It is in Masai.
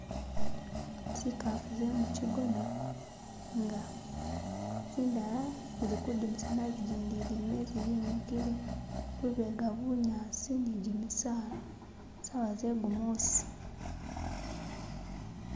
Zikafu ze mukigona inga zindala zili kudimisana jindi ili mumezi yimikile, lubega bunyasi ni gimisaala, sawa zegumusi